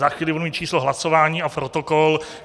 Za chvíli budu mít číslo hlasování a protokol.